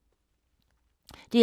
DR P2